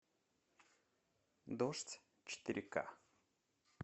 дождь четыре к